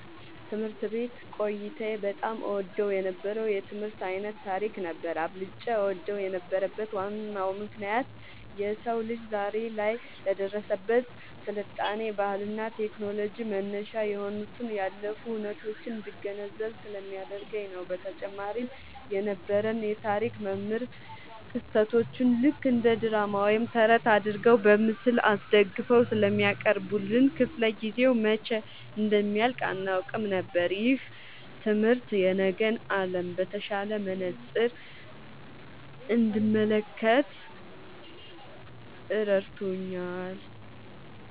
ትምህርት ቤት ቆይታዬ በጣም እወደው የነበረው የትምህርት ዓይነት ታሪክ ነበር። አብልጬ እወደው የነበረበት ዋናው ምክንያት የሰው ልጅ ዛሬ ላይ ለደረሰበት ስልጣኔ፣ ባህልና ቴክኖሎጂ መነሻ የሆኑትን ያለፉ ሁነቶች እንድገነዘብ ስለሚያደርገኝ ነው። በተጨማሪም የነበረን የታሪክ መምህር ክስተቶቹን ልክ እንደ ድራማ ወይም ተረት አድርገው በምስል አስደግፈው ስለሚያቀርቡልን፣ ክፍለ-ጊዜው መቼ እንደሚያልቅ አናውቅም ነበር። ይህ ትምህርት የነገን ዓለም በተሻለ መነጽር እንድመለከት ረድቶኛል።"